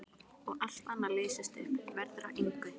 Og allt annað leysist upp, verður að engu.